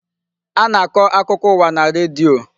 A na-akọ akụkọ ụwa na redio.